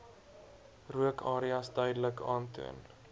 rookareas duidelik aantoon